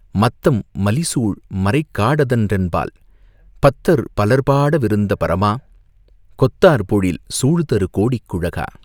"மத்தம் மலிசூழ் மறைக்காடதன் றென்பால் பத்தர் பலர் பாடவிருந்த பரமா!..கொத்தார் பொழில் சூழ்தருகோடிக் குழகா..